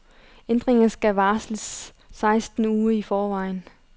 Ændringer skal varsles seksten uger i forvejen.